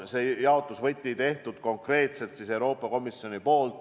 Selle jaotusvõtme on teinud konkreetselt Euroopa Komisjon.